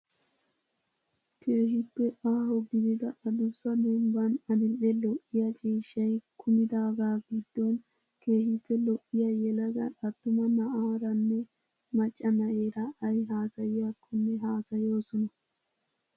Keehippe aaho gidida adussa dembban adil'e lo'iyaa ciishshayi kumidaagaa giddon keehippe lo'iyaa yelaga attuma na'aaranne macca na'eera ayi haasayiyaakkonne haasayoosona.